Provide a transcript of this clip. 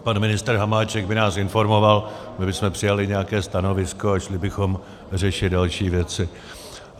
Pan ministr Hamáček by nás informoval, my bychom přijali nějaké stanovisko a šli bychom řešit další věci.